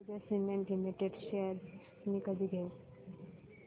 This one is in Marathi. अंबुजा सीमेंट लिमिटेड शेअर्स मी कधी घेऊ